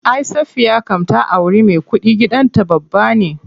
Ay Safiya kam ta auri me kuɗi, gidan ta babba ne.